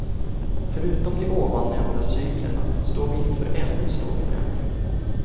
Förutom de ovan nämnda cyklerna står vi inför ännu en stor förändring.